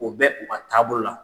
O bɛ u ka taabolo la.